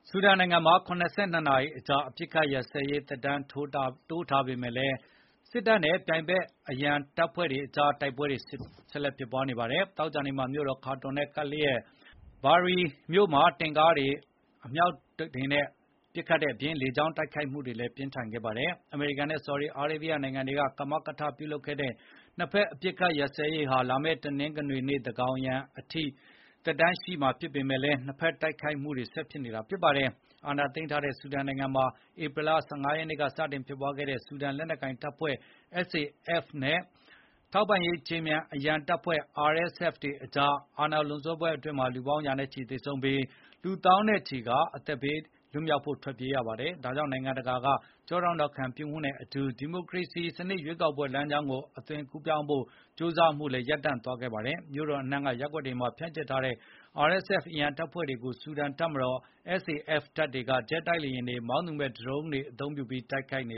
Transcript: ဆူဒန်နိုင်ငံမှာ ၇၂ နာရီကြာ အပစ်အခတ်ရပ်စဲရေး သက်တမ်းတိုးထားပေမယ့် စစ်တပ်နဲ့ ပြိုင်ဖက် အရံတပ်ဖွဲ့တွေကြား တိုက်ပွဲတွေ ဆက်ဖြစ်နေပါတယ်။ သောကြာနေ့မှာ မြို့တော် ခါတွန်နဲ့ကပ်လျက် ဘာရီ Bahri မြို့တွေမှာ တင့်ကားတွေ၊ အမြောက်တွေအပြင် လေကြောင်း တိုက်ခိုက်မှုတွေလည်း ပြင်းထန်ခဲ့ပါတယ်။ အမေရိကန်နဲ့ ဆော်ဒီအာရေဗျ နိုင်ငံတွေက ကမကထလုပ်တဲ့ နှစ်ဖက် အပစ်အခတ်ရပ်စဲရေးဟာ လာမယ့် တနင်္ဂနွေနေ့ သန်းခေါင်ယံအထိ သက်တမ်းရှိပေမယ့် နှစ်ဖက်တိုက်ခိုက်မှုတွေက ဆက်ဖြစ်နေတာပါ။ စစ်အာဏာသိမ်းထားတဲ့ ဆူဒန်နိုင်ငံမှာ ဧပြီလ ၁၅ ရက်နေ့က စတင်ဖြစ်ပွားခဲ့တဲ့ ဆူဒန်လက်နက်ကိုင်တပ်ဖွဲ့ (SAF) နဲ့ ထောက်ပံ့ရေးခြေမြန် အရန်တပ်ဖွဲ့(RSF) ကြား အာဏာလွန်ဆွဲပွဲအတွင်းမှာ လူပေါင်း ရာနဲ့ချီသေဆုံးပြီး လူ သောင်းနဲ့ချီဟာ အသက်ဘေးက ထွက်ပြေးခဲ့ရပါတယ်။ ဒါကြောင့် နိုင်ငံတကာ ကျောထောက်နောက်ခံ ပြုမှုနဲ့အတူ ဒီမိုကရေစီစနစ် ရွေးကောက်ပွဲ လမ်းကြောင်းကို အသွင်ကူးပြောင်းဖို့ ကြိုးစားမှုကလည်း ရပ်တန့်သွားခဲ့ပါတယ်။ မြို့တော်အနှံ့က ရပ်ကွက်တွေမှာ ဖြန့်ကျက်ထားတဲ့ RSF အရန်တပ်ဖွဲ့တွေကို ဆူဒန်တပ်မတော် SAF တပ်တွေက ဂျက်လေယာဉ်တွေ၊ မောင်းသူမဲ့ ဒရုန်းယာဉ်ငယ်တွေသုံးပြီး တိုက်ခိုက်နေ